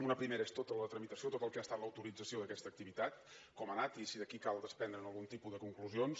una primera és tota la tramitació tot el que ha estat l’autorització d’aquesta activitat com ha anat i si d’aquí cal desprendre’n algun tipus de conclusions